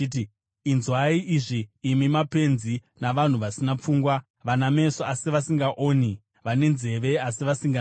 Inzwai izvi imi mapenzi navanhu vasina pfungwa, vane meso, asi vasingaoni, vane nzeve, asi vasinganzwi: